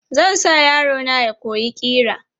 Zan sa yaro na ya koyi ƙira.